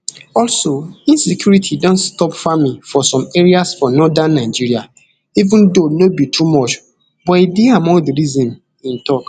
also insecurity don stop farming for some areas for northern nigeria even though no be too much but e dey among di reasons im tok